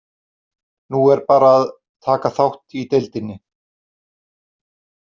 Nú er bara að taka þátt í deildinni.